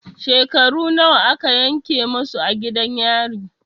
Shekaru nawa a ka yanke musu a gidan yari?